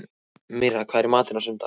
Mirra, hvað er í matinn á sunnudaginn?